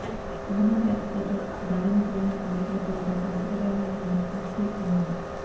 అమర్నాథ్ యాత్రీకులపై దాడిని చైనా ఖండించకపోవడం ఆశ్చర్యకరంగా ఉందని ముఫ్తీ అన్నారు